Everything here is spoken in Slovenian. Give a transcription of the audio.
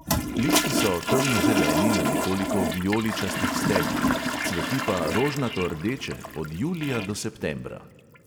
Listi so temnozeleni na nekoliko vijoličastih steblih, cveti pa rožnatordeče, od julija do septembra.